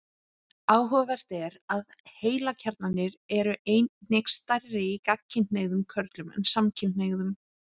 áhugavert er að heilakjarnarnir eru einnig stærri í gagnkynhneigðum körlum en samkynhneigðum